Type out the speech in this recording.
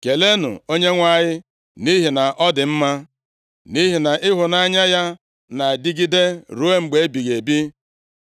Keleenụ Onyenwe anyị, nʼihi na ọ dị mma, nʼihi na ịhụnanya ya na-adịgide ruo mgbe ebighị ebi.